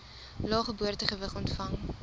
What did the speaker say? lae geboortegewig ontvang